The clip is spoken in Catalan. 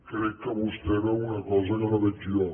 crec que vostè veu una cosa que no veig jo